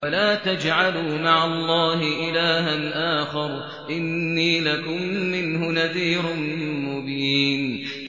وَلَا تَجْعَلُوا مَعَ اللَّهِ إِلَٰهًا آخَرَ ۖ إِنِّي لَكُم مِّنْهُ نَذِيرٌ مُّبِينٌ